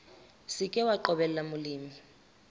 se ke wa qobella molemi